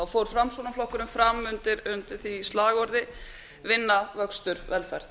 fór framsóknarflokkurinn fram undir því slagorð vinna vöxtur velferð